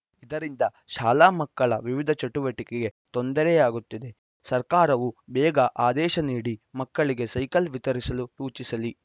ಇದರಿಂದ ಶಾಲಾ ಮಕ್ಕಳ ವಿವಿಧ ಚಟುವಟಿಕೆಗೆ ತೊಂದರೆಯಾಗುತ್ತಿದೆ ಸರ್ಕಾರವು ಬೇಗ ಆದೇಶ ನೀಡಿ ಮಕ್ಕಳಿಗೆ ಸೈಕಲ್‌ ವಿತರಿಸಲು ಸೂಚಿಸಲಿ